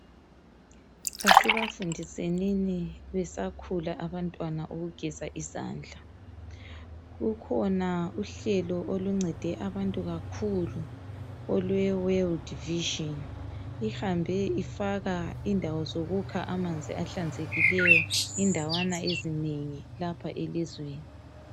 Asibafundisenini besakhula abantwana ukugeza izandla. Kukhona uhlelo oluncede abantu kakhulu olwewelidi vizhini (Wold Vision). Ihambe ifaka indawo zokukha amanzi ahlanzekileyo indawana ezinengi lapha elizweni.